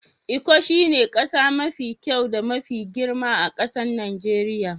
lkko shine kasa mafi kyau da mafi girma a'kasan Nijeriya.